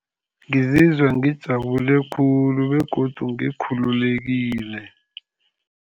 Ngizizwa ngijabule khulu, begodu ngikhululekile.